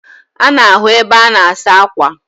Ana ahu ebe ana asa akwa